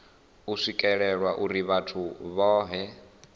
u swikelelwa uri vhathu vhohe